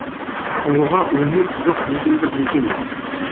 ұлыға өлмек жоқ дегенді білген